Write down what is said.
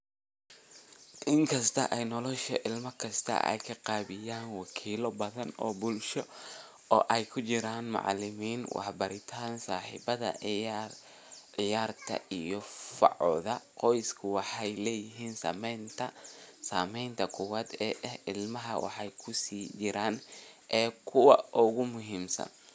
Inkasta oo nolosha ilmo kasta ay qaabeeyaan wakiilo badan oo bulsho oo ay ku jiraan macalimiin, warbaahinta, saaxiibada ciyaarta iyo facooda, qoysku waxay leeyihiin saamaynta koowaad ee ilmaha waxayna ku sii jiraan e kuwa ugu muhiimsan.